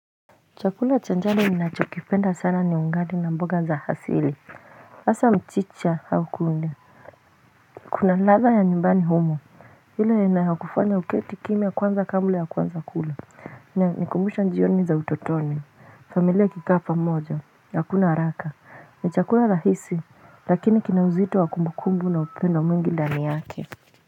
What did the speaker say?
Chakula cha jani ninachokipenda sana ni ugali na mboga za hasili hasaa mchicha au kunde Kuna ladha ya nyumbani humo ile inayokufanya uketi kimya kwanza kabla ya kwanza kula nikumbusha jioni za utotoni familia ikikaa pamoja hakuna haraka itakuwa rahisi Lakini kina uzito wa kumbukumbu na upendo mwingi ndani yake.